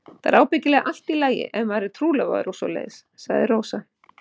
Það er ábyggilega allt í lagi ef maður er trúlofaður og svoleiðis, sagði Rósa.